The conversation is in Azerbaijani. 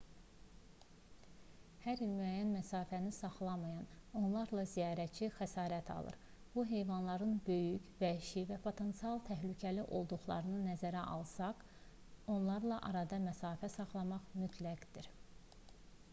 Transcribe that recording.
hər il müəyyən məsafəni saxlamayan onlarla ziyarətçi xəsarət alır bu heyvanların böyük vəhşi və potensial təhlükəli olduqlarını nəzərə alsaq onlarla arada məsafə saxlamaq mütləqdir